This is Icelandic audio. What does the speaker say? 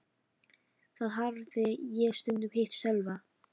Þar hafði ég stundum hitt Sölva.